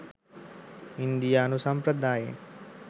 ඉන්දියානු සම්ප්‍රදායන්